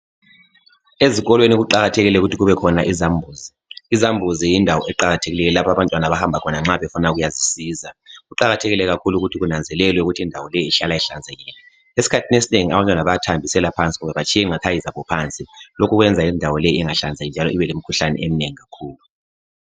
Ezikolweni kuqakathekile ukuthi kube khona izambuzi, izambuzi yindawo eqakathekileyo lapha abantwana abahamba khona nxa befuna ukuyazisisa kuqakathekile ukuthi kunazwelelwe ukuthi indawo le uhlala inhlanzekile. Esikhathini esinengi abantwana bayathambisela phansi kumbe batshiye iqathayi zabo phansi lokhu kwenza indawo le inhahlanzeki njalo ibelemkhuhlane eminengi kakhulu.